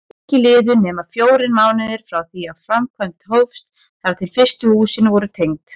Ekki liðu nema fjórir mánuðir frá því framkvæmd hófst þar til fyrstu húsin voru tengd.